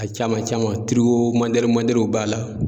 A caman caman toriko mɔdɛluw mɔdɛluw b'a la